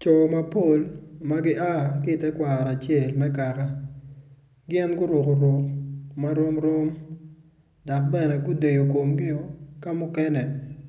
Col mapol ma gia ki tekwaro acel me kaka gin guruko ruk marom rom dok bene gudeyo komgi ka mukene